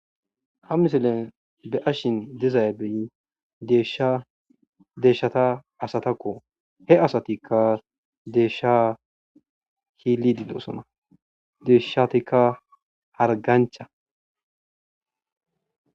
Ha misilen beyashe dizabi deyshata asatakko he asatika desha xelidi dosona deyshatika hargancha